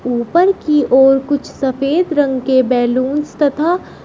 ऊपर की ओर कुछ सफेद रंग के बैलूंस तथा--